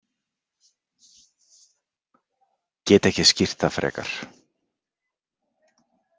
Get ekki skýrt það frekar.